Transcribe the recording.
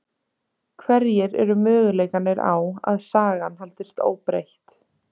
Hverjir eru möguleikarnir á að sagan haldist óbreytt?